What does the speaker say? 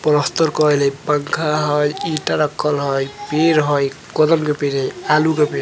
प्लस्तर कइल हई पंखा हई ईटा रखल हई पेड़ हई कदम के पेड हई आलू के पैड हई।